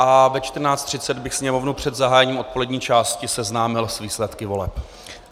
A ve 14.30 bych Sněmovnu před zahájením odpolední části seznámil s výsledky voleb.